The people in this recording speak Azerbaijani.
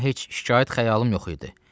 Mənim heç şikayət xəyalım yox idi.